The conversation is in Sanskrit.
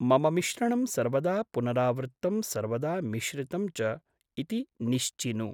मम मिश्रणं सर्वदा पुनरावृत्तं सर्वदा मिश्रितं च इति निश्चिनु।